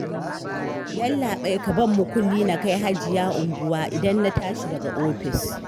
Yallaɓai, ka ban mukulli na kai Hajiya unguwar idan na tashi daga ofis